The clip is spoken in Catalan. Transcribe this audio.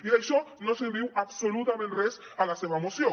i d’això no se’n diu absolutament res a la seva moció